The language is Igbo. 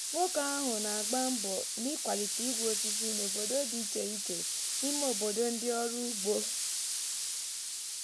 nwoke ahụ na-agba mbọ n’ịkwalite igwu osisi n’obodo dị iche iche n’ime obodo ndị ọrụ ugbo.